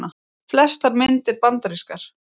Flestar myndir bandarískar